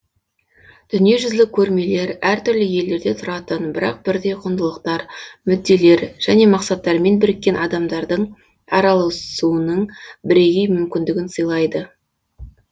дүниежүзілік көрмелер әр түрлі елдерде тұратын бірақ бірдей құндылықтар мүдделер және мақсаттармен біріккен адамдардың араласуының бірегей мүмкіндігін сыйлайды